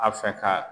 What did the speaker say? A fɛ ka